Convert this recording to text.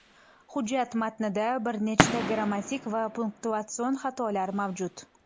Hujjat matnida bir nechta grammatik va punktuatsion xatolari mavjud.